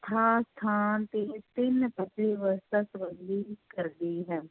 ਵਿਵਸਥਾ ਸੰਬੰਧੀ ਕਰਦੀ ਹੈ।